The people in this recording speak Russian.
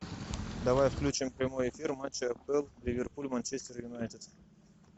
давай включим прямой эфир матча апл ливерпуль манчестер юнайтед